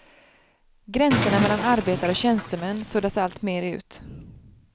Gränserna mellan arbetare och tjänstemän suddas alltmer ut.